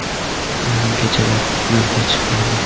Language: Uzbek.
Yarim kechalab yo‘lga chiqmayman.